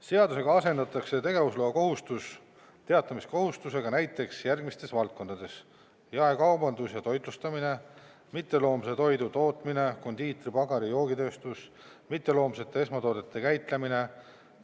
Seadusega asendatakse tegevusloakohustus teatamiskohustusega näiteks järgmistes valdkondades: jaekaubandus ja toitlustamine, mitteloomse toidu tootmine , mitteloomsete esmatoodete käitlemine.